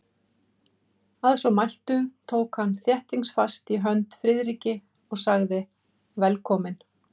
Að svo mæltu tók hann þéttingsfast í hönd Friðriki og sagði: Velkominn